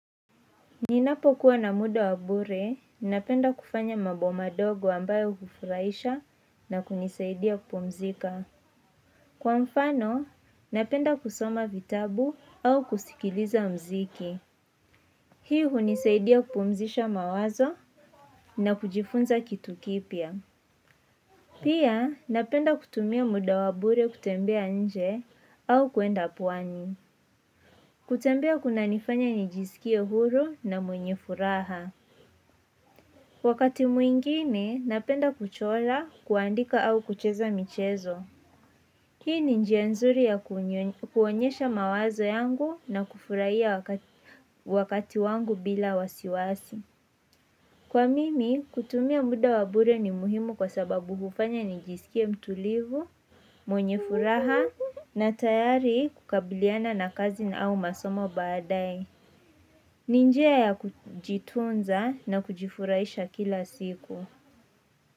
Ninapokuwa na muda wa bure, napenda kufanya mambo madogo ambayo hufurahisha na kunisaidia kupumzika. Kwa mfano, napenda kusoma vitabu au kusikiliza mziki. Hii hunisaidia kupumzisha mawazo na kujifunza kitu kipya Pia, napenda kutumia muda wa bure kutembea nje au kwenda pwani kutembea kunanifanya nijisikie huru na mwenye furaha. Wakati mwingine, napenda kuchora kuandika au kucheza michezo. Hii ni njia nzuri ya kuonyesha mawazo yangu na kufurahia wakati wangu bila wasiwasi. Kwa mimi, kutumia muda wa bure ni muhimu kwa sababu hufanya nijisikie mtulivu, mwenye furaha na tayari kukabiliana na kazi na au masomo baadae ni njia ya kujitunza na kujifurahisha kila siku.